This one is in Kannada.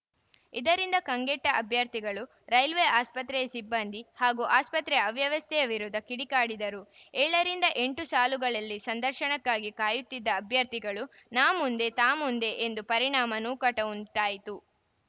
ಇದರಿಂದ ಕಂಗಟ್ಟಅಭ್ಯರ್ಥಿಗಳು ರೈಲ್ವೆ ಆಸ್ಪತ್ರೆಯ ಸಿಬ್ಬಂದಿ ಹಾಗೂ ಆಸ್ಪತ್ರೆಯ ಅವ್ಯವಸ್ಥೆಯ ವಿರುದ್ಧ ಕಿಡಿಕಾರಿದರು ಏಳು ರಿಂದ ಎಂಟು ಸಾಲುಗಳಲ್ಲಿ ಸಂದರ್ಶನಕ್ಕಾಗಿ ಕಾಯುತ್ತಿದ್ದ ಅಭ್ಯರ್ಥಿಗಳು ನಾ ಮುಂದೆ ತಾ ಮುಂದೆ ಎಂದು ತಳ್ಳಾಡಿದ ಪರಿಣಾಮ ನೂಕಾಟ ಉಂಟಾಯಿತು